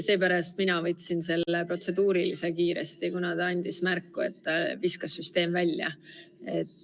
Seepärast ma tegin kiiresti selle protseduurilise märkuse, kuna ta andis märku, et süsteem viskas välja.